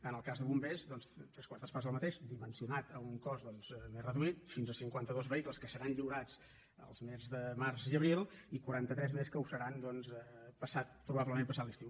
en el cas de bombers doncs tres quartes parts del mateix dimensionat a un cos més reduït fins a cinquanta dos vehicles que seran lliurats els mesos de març i abril i quaranta tres més que ho seran probablement passat l’estiu